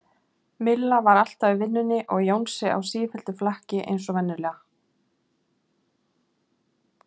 Milla var alltaf í vinnunni og Jónsi á sífelldu flakki eins og venjulega.